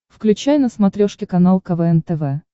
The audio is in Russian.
включай на смотрешке канал квн тв